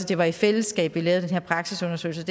det var i fællesskab vi lavede den her praksisundersøgelse